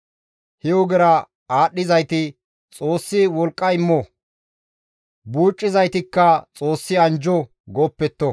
He ogera aadhdhizayti, «Xoossi wolqqa immo» buucizaytikka, «Xoossi anjjo» gooppetto.